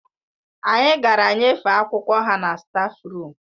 Anyị gara nyefee akwụkwọ ha na stáfruum